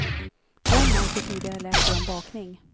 Glöm allt du tidigare lärt dig om bakning.